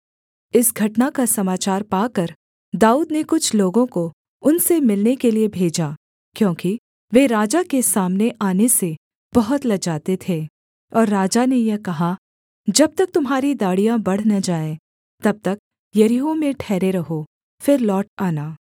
इस घटना का समाचार पाकर दाऊद ने कुछ लोगों को उनसे मिलने के लिये भेजा क्योंकि वे राजा के सामने आने से बहुत लजाते थे और राजा ने यह कहा जब तक तुम्हारी दाढ़ियाँ बढ़ न जाएँ तब तक यरीहो में ठहरे रहो फिर लौट आना